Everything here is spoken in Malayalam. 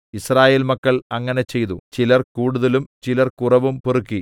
യിസ്രായേൽ മക്കൾ അങ്ങനെ ചെയ്തു ചിലർ കൂടുതലും ചിലർ കുറവും പെറുക്കി